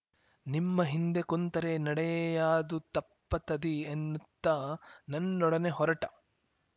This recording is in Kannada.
ನಿಮ್ಮಹಿಂದೆ ಕುಂತರೆ ನಡೆಯಾದು ತಪ್ಪತತಿ ಎನ್ನುತ್ತ ನನ್ನೊಡನೆ ಹೊರಟ